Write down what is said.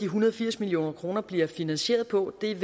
hundrede og firs million kroner bliver finansieret på er